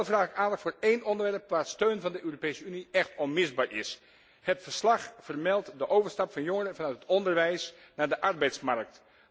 Wel vraag ik aandacht voor één onderwerp waar steun van de Europese Unie echt onmisbaar is. Het verslag vermeldt de overstap van jongeren vanuit het onderwijs naar de arbeidsmarkt.